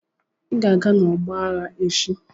Ị ga-aga n'ọgbọ aghá echi!